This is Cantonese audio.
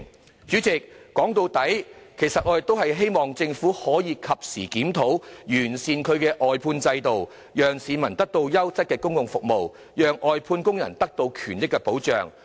代理主席，說到底，我們希望政府可以及時進行檢討，完善外判制度，讓市民獲得優質的公共服務，使外判工人的權益獲得保障。